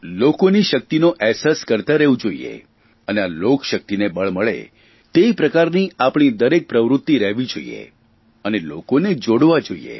લોકોની શકિતનો અહેસાસ કરતા રહેવું જોઇએ અને આ લોકશકિતને બળ મળે તે પ્રકારની આપણી દરેક પ્રવૃત્તિ રહેવી જોઇએ અને લોકોને જોડવા જોઇએ